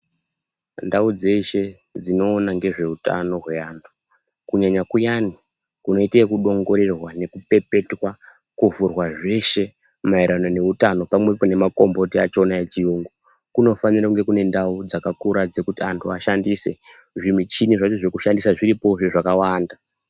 Ndau dzeshe dzinoona ngezvehutano weantu kunyanya kuyani kunoitwa nekuongororwa kupepetwa kuvhurwa zveshe maererano neutano pamwepo nemakomboti akona echiyungu kunafanira kune ndau dzakakura dzekuti antu ashandise zvimuchini zvacho zvekushandisa zviripo zvezvakawanda.